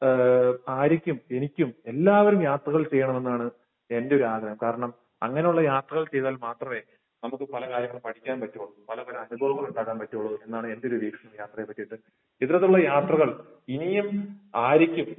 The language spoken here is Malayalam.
ഏഹ് ആര്യക്കും എനിക്കും എല്ലാവരും യാത്രകൾ ചെയ്യണമെന്നാണ് എന്റെ ഒരു ആഗ്രഹം. കാരണം അങ്ങനെയുള്ള യാത്രകൾ ചെയ്‌താൽ മാത്രമേ നമുക്ക് പല കാര്യങ്ങളും പഠിക്കാൻ പറ്റുകയുള്ളു. പല പല അനുഭവങ്ങൾ ഉണ്ടാക്കാൻ പറ്റുകയുള്ളു എന്നാണ് എന്റെയൊരു വീക്ഷണം യാത്രയെ പറ്റിയിട്ട്. വിവിധ തരം യാത്രകൾ ഇനിയും ആര്യക്കും